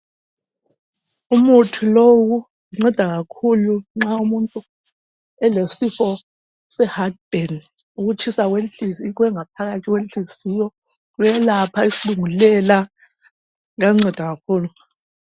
Umuthi lowu unceda kakhulu nxa umuntu elesifo se hathi bheni, ukutshisa kwengaphakathi kwenhliziyo. Uyelapha kakhulu islungulela, uyanceda kakhulu.